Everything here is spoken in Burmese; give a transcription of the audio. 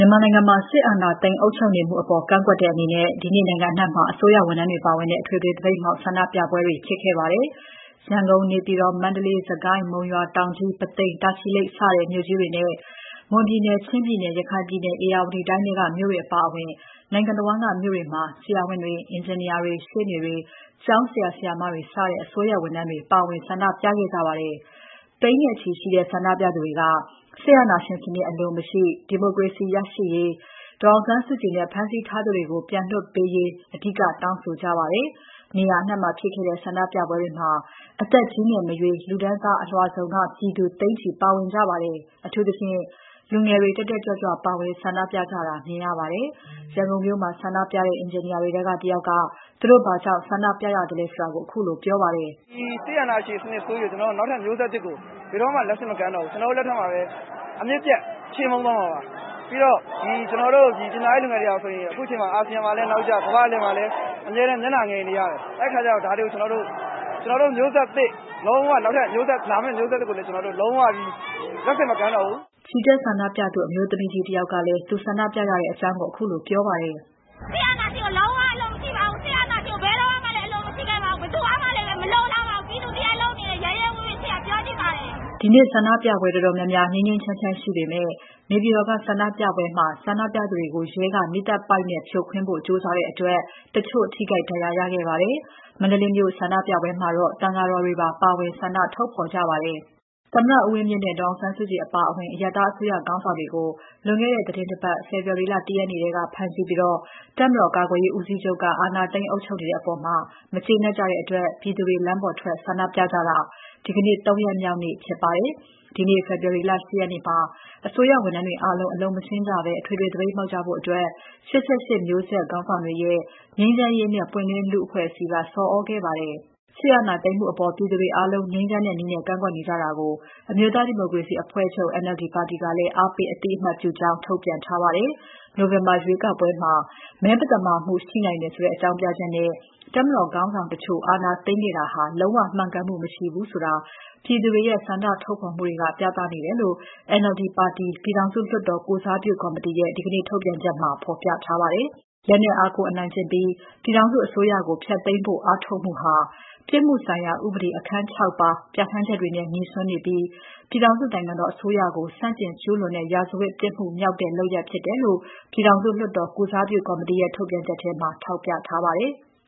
မာနိုင်ငံမှာ စစ်အာဏာသိမ်း အုပ်ချုပ်မှုအပေါ် ကန့်ကွက်တဲ့အနေနဲ့ ဒီနေ့နိုင်ငံအနှံ့မှာ အစိုးရဝန်ထမ်းတွေပါဝင်တဲ့ အထွေထွေသပိတ်မှောက် ဆန္ဒပြပွဲတွေ ဖြစ်ခဲ့ပါတယ်။ ရန်ကုန်၊ နေပြည်တော်၊ မန္တလေး၊ စစ်ကိုင်း၊ မုံရွာ၊ တောင်ကြီး၊ ပုသိမ်၊ တာချီလိတ် စတဲ့ မြို့ကြီးတွေနဲ့ မွန်ပြည်နယ်၊ ချင်းပြည်နယ်၊ ရခိုင်ပြည်နယ်၊ ဧရာဝတီတိုင်းထဲက မြို့တွေအပါအဝင် နိုင်ငံတဝန်းက မြို့တွေမှာ ဆရာဝန်တွေ၊ အင်ဂျင်နီယာတွေ၊ ရှေ့နေတွေ၊ ကျောင်းဆရာ၊ ဆရာမတွေစတဲ့ အစိုးရဝန်ထမ်းတွေ ပါဝင်ဆန္ဒပြကြပါတယ်။ သိန်းနဲ့ချီရှိတဲ့ ဆန္ဒပြသူတွေက စစ်အာဏာရှင်စနစ်အလို မရှိ၊ ဒီမိုကရေစီ ရရှိရေး၊ ဒေါ်အောင်ဆန်းစုကြည်နဲ့ ဖမ်းဆီးထားသူတွေကို ပြန်လွှတ်ပေးဖို့ အဓိကတောင်းဆိုကြပါတယ်။ နေရာအနှံ့မှာဖြစ်ခဲ့တဲ့ ဆန္ဒပြပွဲတွေမှာ အသက် ကြီးငယ်မရွေး၊ လူတန်းစားအလွှာစုံက ပြည်သူ သိန်းနဲ့ချီ ပါဝင်ကြပါတယ်။ အထူးသဖြင့် လူငယ်တွေ တက်တက်ကြွကြွ ပါဝင်ဆန္ဒပြကြတာမြင်ရပါတယ်။ ရန်ကုန်မြို့မှာ ဆန္ဒပြတဲ့ အင်ဂျင်နီယာတွေထဲက တယောက်က သူတို့ဘာကြောင့် ဆန္ဒပြရသလဲဆိုတာကို ခုလိုပြောပါတယ်။ "ဒီစစ်အာဏာရှင်စနစ်ဆိုးကြီးကို နောက်ထပ်မျိုးဆက်သစ်ကို ဘယ်တော့မှ လက်ဆင့်မကမ်းတော့ဘူး။ ကျနော်တို့ လက်ထက်မှာပဲ... အမြစ်ပြတ် ချေမှုန်းသွားမှာပါ။ ပြီးတော့ လူငယ်တွေဟာဆိုရင် အခုချိန်မှာ အာဆီယံမှာလည်း နောက်ကျ၊ ကမ္ဘာ့အလယ်မှာ အမြဲတမ်း မျက်နှာငယ်နေရတယ်။ အဲဒီအခါကျတော့ ကျနော်တို့ မျိုးဆက်သစ် နောက်ထပ်လာမယ့် မျိုးဆက်သစ်ကိုလည်း လုံးဝ လက်ဆင့်မကမ်းပါတော့ဘူး။" ချီတက်ဆန္ဒပြသူ အမျိုးသမီးကြီးတယောက်ကလည်း သူဆန္ဒပြရတဲ့အကြောင်းကို ခုလိုပြောပါတယ်။ "စစ်အာဏာရှင်ကို လုံးဝ အလိုမရှိပါဘူး။ စစ်အာဏာရှင်ကို ဘယ်တုန်းကမှလည်း အလိုမရှိခဲ့ပါဘူး။ ဘယ်သူကမှလည်း မလိုလားပါဘူး။ ပြည်သူတရပ်လုံးအနေနဲ့ ရဲရဲဝံ့ဝံ့ ပြောချင်ပါတယ်။" ဒီနေ့ဆန္ဒပြပွဲတော်တော်များများ ငြိမ်းငြိမ်းချမ်းချမ်း ရှိပေမဲ့ နေပြည်တော်က ဆန္ဒပြပွဲမှာ ဆန္ဒပြသူတွေကို ရဲက မီးသတ်ပိုက်နဲ့ ဖြိုခွင်းဖို့ ကြိုးစားတဲ့အတွက် တချို့ ထိခိုက်၊ ဒဏ်ရာရခဲ့ကြပါတယ်။ မန္တလေးမြို့ဆန္ဒပြပွဲမှာတော့ သံဃာတော်တွေပါ ပါဝင် ဆန္ဒထုတ်ဖော်ကြပါတယ်။ သမ္မတဦးဝင်းမြင့်နဲ့ ဒေါ်အောင်ဆန်းစုကြည် အပါအဝင် အရပ်သားအစိုးရခေါင်းဆောင်တွေကို ဖမ်းဆီးပြီး တပ်မတော်ကာကွယ်ရေးဦးစီးချုပ်က အာဏာသိမ်း အုပ်ချုပ်နေတဲ့အပေါ် မကျေနပ်ကြတဲ့အတွက် ပြည်သူတွေ လမ်းပေါ်ထွက် ဆန္ဒပြတာ ဒီနေ့ ၃ ရက်မြောက်နေ့ဖြစ်ပါတယ်။ ဒီနေ့ ဖေဖော်ဝါရီလ ၈ ရက်နေ့မှာ အစိုးရဝန်ထမ်းတွေ အားလုံး အလုပ်မဆင်းကြဘဲ အထွေထွေသပိတ်မှောက်ကြဖို့ ၈၈ မျိုးဆက်ခေါင်းဆောင်တွေရဲ့ ငြိမ်းချမ်းရေးနဲ့ ပွင့်လင်းလူ့ဘောင်အဖွဲ့က ဆော်သြခဲ့ပါတယ်။ စစ်အာဏာသိမ်းမှုအပေါ် ပြည်သူတွေအားလုံး ငြိမ်းချမ်းတဲ့နည်းနဲ့ ကန့်ကွက်နေကြတာကို အမျိုးသားဒီမိုကရေစီအဖွဲ့ချုပ် NLD ပါတီကလည်း အားပေး အသိအမှတ်ပြုကြောင်း ထုတ်ပြန်ထားပါတယ်။ နိုဝင်ဘာရွေးကောက်ပွဲမှာ မဲမသမာမှု ရှိနိုင်တယ်ဆိုတဲ့ အကြောင်းပြချက်နဲ့ တပ်မတော်ခေါင်းဆောင်တချို့ အာဏာသိမ်းခဲ့တာဟာ လုံးဝ မှန်ကန်မှု မရှိဘူးဆိုတာ ပြည်သူတွေရဲ့ ဆန္ဒထုတ်ဖော်မှုတွေက ပြသနေတယ်လို့ NLD ပါတီ ပြည်တော်စုလွှတ်တော်ကိုယ်စားပြု ကော်မတီရဲ့ ဒီနေ့ထုတ်ပြန်ချက်မှာ ဖော်ပြထားပါတယ်။ လက်နက်အားကိုး အနိုင်ကျင့်ပြီး ပြည်ထောင်စု အစိုးရကို ဖျက်သိမ်းဖို့ အားထုတ်မှုဟာ ပြစ်မှုဆိုင်ရာ ဥပဒေ အခန်း ၆ ပါ ပြဌာန်းချက်တွေနဲ့ ငြိစွန်းနေပြီး ပြည်ထောင်စုနိုင်ငံတော် အစိုးရကို ဆန့်ကျင် ကျူးလွန်တဲ့ ရာဇဝတ်ပြစ်မှုမြောက်တဲ့ လုပ်ရပ်ဖြစ်တယ်လို့ ပြည်ထောင်စုလွှတ်တော် ကိုယ်စားပြုကော်မတီရဲ့ ထုတ်ပြန်ချက်ထဲမှာ ထောက်ပြထားပါတယ်။